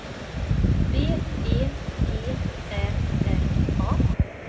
B E G Ä R A